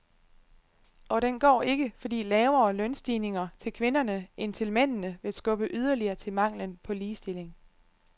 Og den går ikke, fordi lavere lønstigninger til kvinderne end til mændene vil skubbe yderligere til manglen på ligestilling.